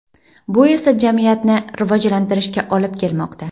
Bu esa jamiyatni rivojlantirishga olib kelmoqda.